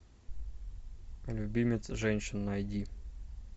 любимец женщин найди